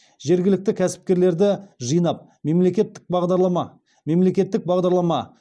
жергілікті кәсіпкерлерді жинап мемлекеттік бағдарлама